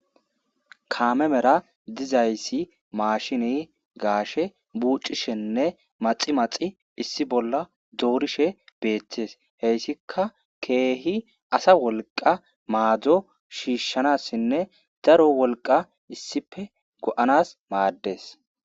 Kame mera dizayisi mashine gashe buchishene maxi maxi issi bola dorishe betes hesika kehi asa woliqa mado shishshanasinne daro woliqa issippe goanas mades.